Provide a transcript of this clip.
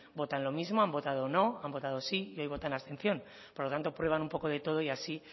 votan lo mismo han votado no han votado sí y hoy votan abstención por lo tanto prueban un poco de todo y así